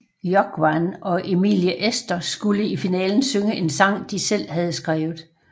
Jógvan og Emilie Esther skulle i finalen synge en sang de selv havde skrevet